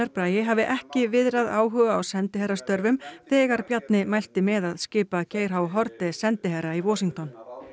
Bragi hafi ekki viðrað áhuga á sendiherrastörfum þegar Bjarni mælti með að skipa Geir Haarde sendiherra í Washington